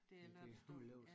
Det er lørdagsdåb